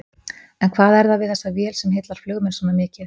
En hvað er það við þessa vél sem heillar flugmenn svona mikið?